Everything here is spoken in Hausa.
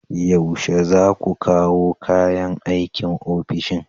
Yaushe za ku kawo kayan aikin ofishin?